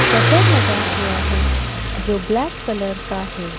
Shutter लगा हुआ है जो ब्लैक कलर का है।